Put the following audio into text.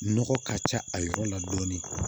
Nɔgɔ ka ca a yɔrɔ la dɔɔnin